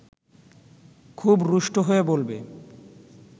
খুব রুষ্ট হয়ে বলবে